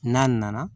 N'a nana